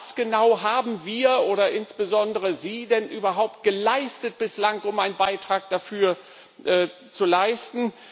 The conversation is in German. Und was genau haben wir oder insbesondere Sie denn bislang überhaupt geleistet, um einen Beitrag dafür zu leisten?